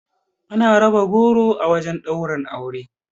Ana raba goro a wurin ɗaura aure